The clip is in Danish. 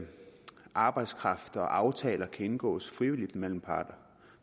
arbejdskraft og aftaler kan indgås frivilligt mellem parterne